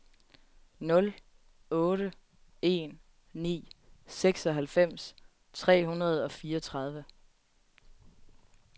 nul otte en ni seksoghalvfems tre hundrede og fireogtredive